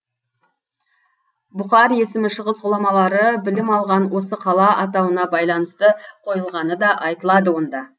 бұқар есімі шығыс ғұламалары білім алған осы қала атауына байланысты қойылғаны да айтылады онда